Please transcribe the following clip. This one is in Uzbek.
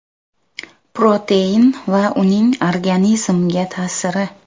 Protein va uning organizmga ta’siri.